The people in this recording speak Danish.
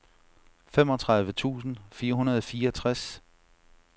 femogtredive tusind fire hundrede og fireogtres